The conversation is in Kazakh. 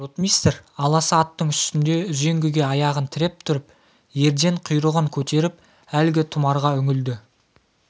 ротмистр аласа аттың үстінде үзеңгіге аяғын тіреп тұрып ерден құйрығын көтеріп әлгі тұмарға үңілді